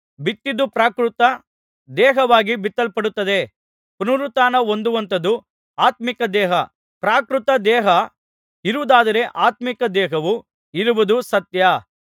ಬಿತ್ತಿದ್ದು ಪ್ರಾಕೃತ ದೇಹವಾಗಿ ಬಿತ್ತಲ್ಪಡುತ್ತದೆ ಪುನರುತ್ಥಾನಹೊಂದುವಂಥದ್ದು ಆತ್ಮೀಕ ದೇಹ ಪ್ರಾಕೃತದೇಹ ಇರುವುದಾದರೆ ಆತ್ಮೀಕ ದೇಹವೂ ಇರುವುದು ಸತ್ಯ